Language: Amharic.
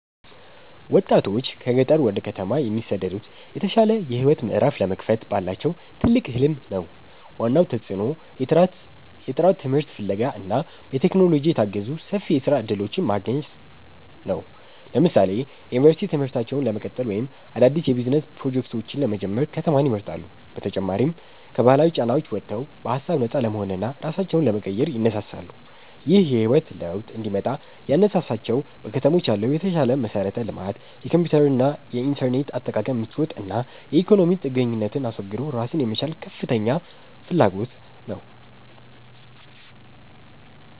ወጣቶች ከገጠር ወደ ከተማ የሚሰደዱት የተሻለ የህይወት ምዕራፍ ለመክፈት ባላቸው ትልቅ ህልም ነው። ዋናው ተጽዕኖ የጥራት ትምህርት ፍለጋ እና በቴክኖሎጂ የታገዙ ሰፊ የስራ እድሎችን ማግኘት ነው። ለምሳሌ የዩኒቨርሲቲ ትምህርታቸውን ለመቀጠል ወይም አዳዲስ የቢዝነስ ፕሮጀክቶችን ለመጀመር ከተማን ይመርጣሉ። በተጨማሪም ከባህላዊ ጫናዎች ወጥተው በሃሳብ ነፃ ለመሆንና ራሳቸውን ለመቀየር ይነሳሳሉ። ይህ የህይወት ለውጥ እንዲመጣ ያነሳሳቸው በከተሞች ያለው የተሻለ መሠረተ ልማት፣ የኮምፒውተርና የኢንተርኔት አጠቃቀም ምቾት እና የኢኮኖሚ ጥገኝነትን አስወግዶ ራስን የመቻል ከፍተኛ ፍላጎት ነው